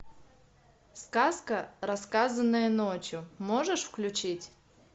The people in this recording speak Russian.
сказка рассказанная ночью можешь включить